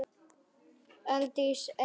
Aldís Eir.